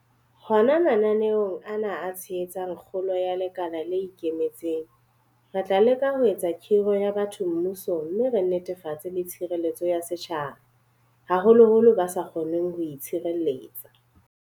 Hona mananeong ana a tshehetsang kgolo ya lekala le ikemetseng, re tla leka ho eketsa kgiro ya batho mmusong mme re netefatse le tshireletso ya setjhaba, haholoholo ba sa kgoneng ho itshireletsa.